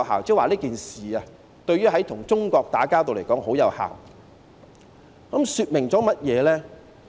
"，即是說這件事對於與中國打交道來說十分有效，這說明甚麼呢？